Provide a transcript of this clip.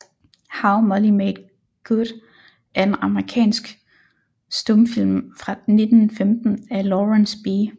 How Molly Made Good er en amerikansk stumfilm fra 1915 af Lawrence B